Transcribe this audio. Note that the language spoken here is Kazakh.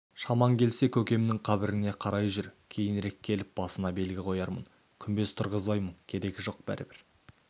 шамаң келсе көкемнің қабіріне қарайлай жүр кейінірек келіп басына белгі қоярмын күмбез тұрғызбаймын керегі жоқ бәрібір